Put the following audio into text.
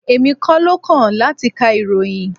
Èmi kọ́ ló kàn láti ka ìròyìn.